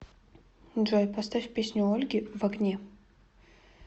джой поставь песню ольги в огне